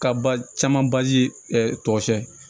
Ka ba caman bazi tɔgɔ sɛbɛn